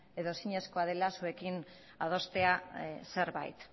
edo ezinezkoa dela zuekin adostea zerbait